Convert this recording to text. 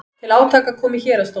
Til átaka kom í héraðsdómi